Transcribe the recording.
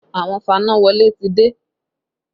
Àwọn fanáwọlé ti dé